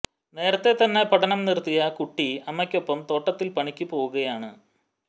നേരത്തെ തന്നെ പഠനം നിർത്തിയ കുട്ടി അമ്മയ്ക്കൊപ്പം തോട്ടത്തിൽ പണിയ്ക്ക് പോകുകയാണ്